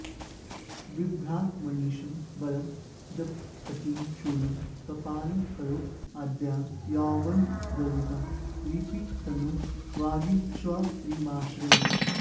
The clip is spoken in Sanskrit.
बिभ्राणामनिशं वरं जपपटीं शूलं कपालं करैः आद्यां यौवनगर्वितां लिपितनुं वागीश्वरीमाश्रये